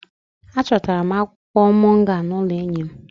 Achọtara m akwụkwọ moringa n'ụlọ enyi m